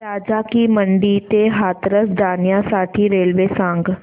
राजा की मंडी ते हाथरस जाण्यासाठी रेल्वे सांग